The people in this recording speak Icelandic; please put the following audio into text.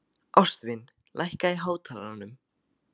Ástvin, lækkaðu í hátalaranum.